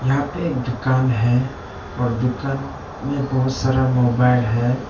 यहां पे एक दुकान है और दुकान में बहुत सारा मोबाइल है।